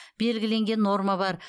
белгіленген норма бар